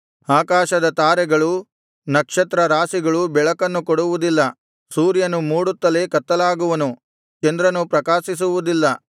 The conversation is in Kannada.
ಆಕಾಶದ ತಾರೆಗಳೂ ನಕ್ಷತ್ರ ರಾಶಿಗಳೂ ಬೆಳಕನ್ನು ಕೊಡುವುದಿಲ್ಲ ಸೂರ್ಯನು ಮೂಡುತ್ತಲೇ ಕತ್ತಲಾಗುವನು ಚಂದ್ರನು ಪ್ರಕಾಶಿಸುವುದಿಲ್ಲ